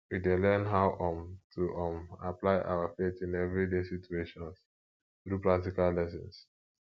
we dey learn how um to um apply our faith in everyday situations through practical lessons